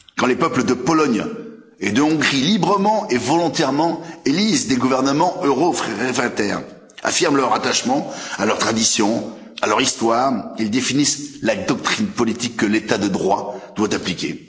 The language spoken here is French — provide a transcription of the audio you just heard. Quand les peuples de Pologne et de Hongrie, librement et volontairement, élisent des gouvernements euro réfractaires, affirment leur attachement à leurs traditions, à leur histoire, ils définissent la doctrine politique que l'état de droit doit appliquer.